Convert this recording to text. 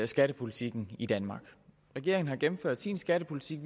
skattepolitikken i danmark regeringen har gennemført sin skattepolitik